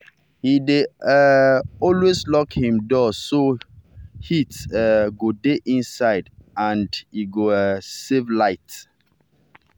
he dey um always lock him door so heat um go dey inside and inside and he go um save light.